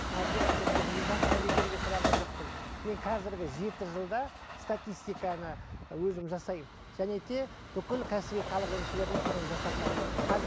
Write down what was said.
мадияр көкем жасыңды бекерге сұраған жоқпын мен қазіргі жеті жылда статистиканы өзім ы жасаймын және де бүкіл кәсіби халық емшілеріне соны жасатамын